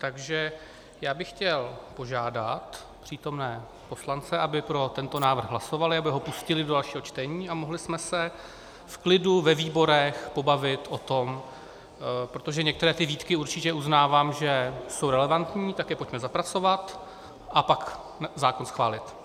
Takže já bych chtěl požádat přítomné poslance, aby pro tento návrh hlasovali, aby ho pustili do dalšího čtení a mohli jsme se v klidu ve výborech pobavit o tom, protože některé ty výtky určitě uznávám, že jsou relevantní, tak je pojďme zapracovat a pak zákon schválit.